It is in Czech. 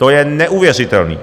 To je neuvěřitelné!